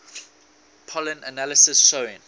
pollen analysis showing